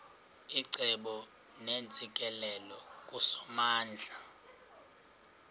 icebo neentsikelelo kusomandla